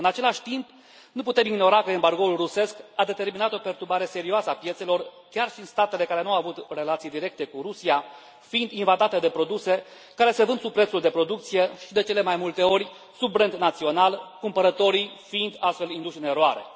În același timp, nu putem ignora că embargoul rusesc a determinat o perturbare serioasă a piețelor chiar și în statele care nu au avut relații directe cu Rusia, fiind invadate de produse care se vând sub prețul de producție și de cele mai multe ori sub brand național, cumpărătorii fiind astfel induși în eroare.